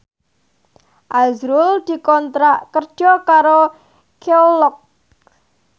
azrul dikontrak kerja karo Kelloggs